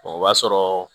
O b'a sɔrɔ